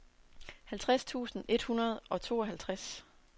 halvtreds tusind et hundrede og tooghalvtreds